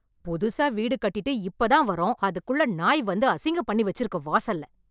புதுசா வீடு கட்டிட்டு இப்போ தான் வரோம் அதுக்குள்ள நாய் வந்து அசிங்கம் பண்ணிவச்சுருக்கு வாசல்ல